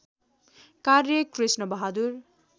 कार्य कृष्णबहादुर